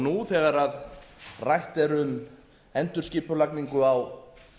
nú þegar rætt er um endurskipulagningu á